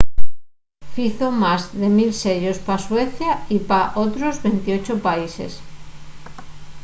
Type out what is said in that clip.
fizo más de 1 000 sellos pa suecia y pa otros 28 países